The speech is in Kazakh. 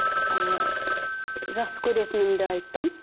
ыыы жақсы көретінімді айттым